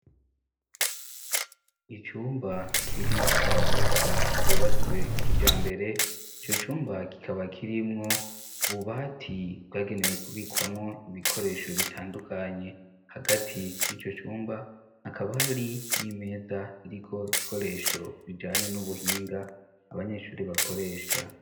Icumba kiri mu nyubakwa ryubatswe kija mbere ico cumba kikaba kirimwo bubati bwagenewe kubikwamwo ibikoresho bitandukanye hagati n'ico cumba akabari n'imeza iriko ikoresho bijanye n'ubuhinga ba abanyeshuri bakoresha.